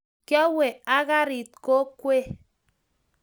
kiowe ak karit kokwe